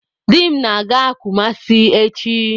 Di m na-aga Kumasi echi.